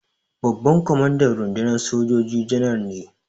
Babban kwamandan rundunar sojoji Janar ne.